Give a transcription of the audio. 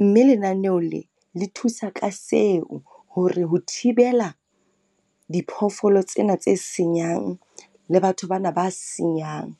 Mme lenaneho le, le thusa ka seo hore ho thibela diphoofolo tsena tse senyang le batho bana ba senyang.